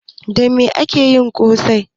Da mai ake yin ƙosai?